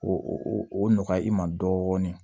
O o nɔgɔya i ma dɔɔnin